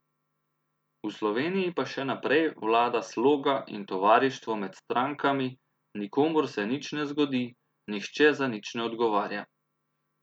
V Sloveniji pa še naprej vlada sloga in tovarištvo med strankami, nikomur se nič ne zgodi, nihče za nič ne odgovarja.